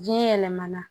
Biyɛn yɛlɛmana